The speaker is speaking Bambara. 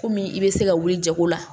Kɔmi i bɛ se ka wuli jago la